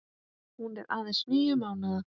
Hún er aðeins níu mánaða.